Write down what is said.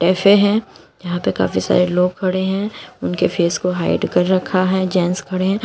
Cafe है यहां पे काफी सारे लोग खड़े हैं उनके फेस को हाइड कर रखा है जेंट्स खड़े हैं।